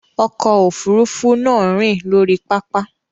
Ọkọ̀ òfurufú náà rìn lórí pápá.